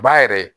Ba yɛrɛ